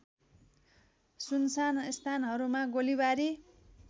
सुनसान स्थानहरूमा गोलीबारी